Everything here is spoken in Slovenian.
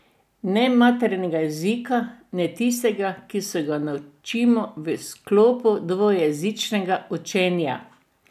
Ne materinega jezika, ne tistega, ki se ga naučimo v sklopu dvojezičnega učenja.